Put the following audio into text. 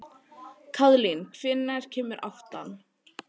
Kaðlín, hvenær kemur áttan?